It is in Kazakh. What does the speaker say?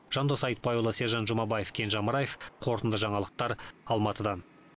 жандос айтбайұлы сержан жұмабаев кенже амраев қорытынды жаңалықтар алматыдан